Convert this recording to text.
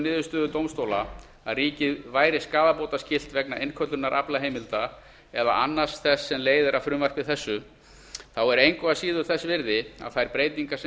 niðurstöðu dómstóla að ríkið væri skaðabótaskylt vegna innköllunar aflaheimilda eða annars þess sem leiðir af frumvarpi þessu þá er engu að síður þess virði að þær breytingar sem